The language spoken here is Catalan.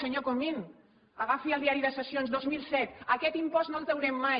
senyor comín agafi el diari de sessions dos mil set aquest impost no el traurem mai